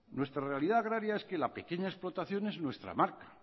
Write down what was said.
nuestra realidad agraria es que la pequeña explotación es nuestra marca